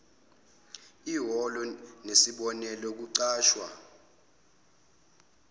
iholo nesibonelelo ukuxhaswa